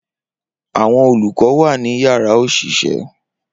Awọn olukọ wa ni yárà oṣiṣẹ.